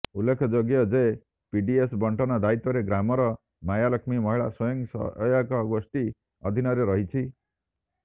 ଉଲେଖ ଯୋଗ୍ୟ ଯେ ପିଡିଏସ ବଣ୍ଟନ ଦାୟିତ୍ୱରେ ଗ୍ରାମର ମାୟା ଲକ୍ଷ୍ମୀ ମହିଳା ସ୍ୱୟଂସହାୟକ ଗୋଷ୍ଠୀଙ୍କ ଅଧିନରେ ରହିଛି